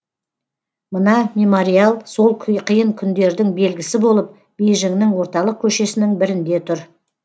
мына мемориал сол қиын күндердің белгісі болып бейжіңнің орталық көшесінің бірінде тұр